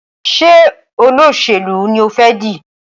Ṣe Olóṣèlú ní o fè di?